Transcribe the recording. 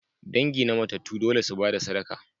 Dangi na matattu dole su ba da sadaka.